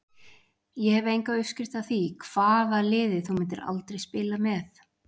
Ég hef enga uppskrift af því Hvaða liði myndir þú aldrei spila með?